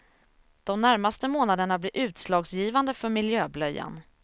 De närmaste månaderna blir utslagsgivande för miljöblöjan.